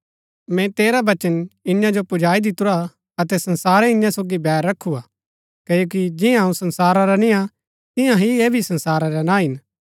मैंई तेरा वचन इन्या जो पुजाई दितुरा अतै संसारै इन्या सोगी बैर रखू हा क्ओकि जियां अऊँ संसारा रा निय्आ तियां ही ऐह भी संसारा रै ना हिन